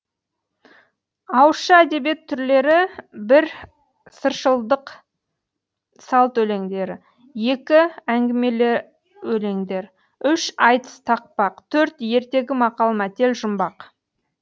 ауызша әдебиет түрлері бір сыршылдық салт өлеңдері екі әңгімелі өлеңдер үш айтыс тақпақ төрт ертегі мақал мәтел жұмбақ